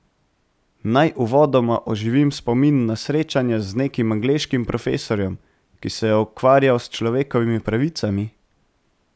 Naj uvodoma oživim spomin na srečanje z nekim angleškim profesorjem, ki se je ukvarjal s človekovimi pravicami.